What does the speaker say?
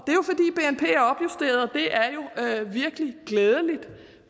det er jo virkelig glædeligt